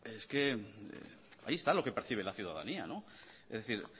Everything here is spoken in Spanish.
es que ahí está lo que percibe la ciudadanía no es decir